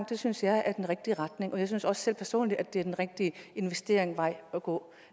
det synes jeg er den rigtige retning i jeg synes også selv personligt at det er den rigtige investeringsvej at gå